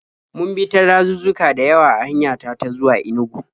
Mun bi ta dazuzzuka da yawa a hanya ta ta zuwa Inugu.